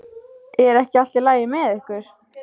Er ekki allt í lagi með ykkur?